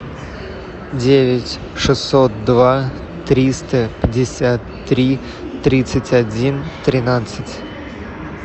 девять шестьсот два триста пятьдесят три тридцать один тринадцать